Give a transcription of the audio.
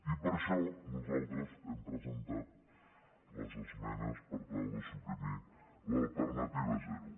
i per això nosaltres hem presentat les esmenes per tal de suprimir l’alternativa zero